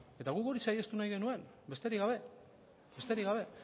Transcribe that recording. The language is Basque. eta guk hori saihestu nahi genuen besterik gabe